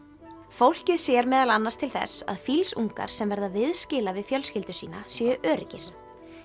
fólkið sér meðal annars til þess að sem verða viðskila við fjölskyldu sína séu öruggir